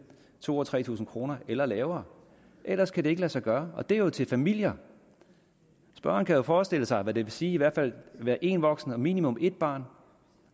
to tusind tre tusind kroner eller lavere ellers kan det ikke lade sig gøre og det er jo til en familie spørgeren kan jo forestille sig hvad det vil sige at være en voksen og minimum et barn